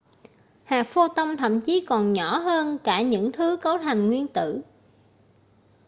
hạt pho-ton thậm chí còn nhỏ hơn cả những thứ cấu thành nguyên tử